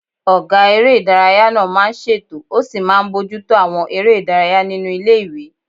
Ọgá eré ìdárayá náà máa n ṣètò ó sì máa n bojútó àwọn eré ìdárayá nínu ilé-ìwé